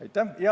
Aitäh!